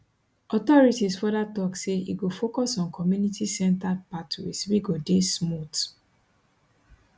authorities further tok say e go focus on communitycentered pathways wey go dey smooth